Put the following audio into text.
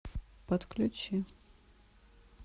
подключи